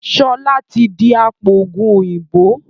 Sọlá tí di apoògùn òyìnbó